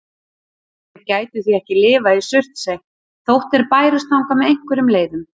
Þeir gætu því ekki lifað í Surtsey þótt þeir bærust þangað með einhverjum leiðum.